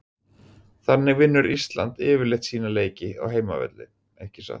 Þannig vinnur Ísland yfirleitt sína leiki á heimavelli ekki satt?